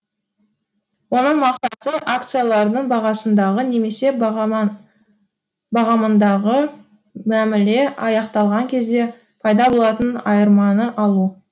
оның мақсаты акциялардың бағасындағы немесе бағамындағы мәміле аяқталған кезде пайда болатын айырманы алу